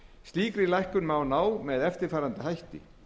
slíkri lækkun má ná fram með eftirfarandi hætti